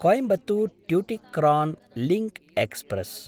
Coimbatore Tuticorin link express